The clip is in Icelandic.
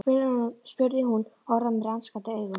spurði hún og horfði á mig rannsakandi augum.